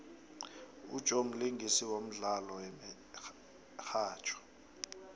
ujoe mlingisi wemdlalo yemihatjho